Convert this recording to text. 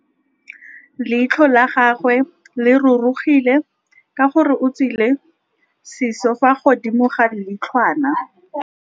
Leitlhô la gagwe le rurugile ka gore o tswile sisô fa godimo ga leitlhwana.